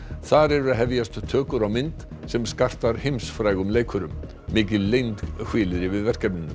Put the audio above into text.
þar eru að hefjast tökur á mynd sem skartar heimsfrægum leikurum mikil leynd hvílir yfir verkefninu